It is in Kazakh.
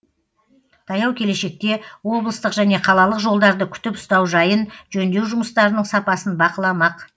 таяу келешекте облыстық және қалалық жолдарды күтіп ұстау жайын жөндеу жұмыстарының сапасын бақыламақ